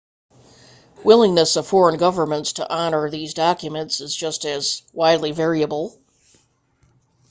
willingness of foreign governments to honour these documents is just as widely variable